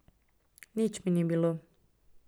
Nič mi ni bilo.